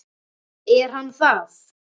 Er hann það?